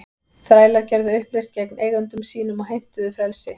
Þrælar gerðu uppreisn gegn eigendum sínum og heimtuðu frelsi.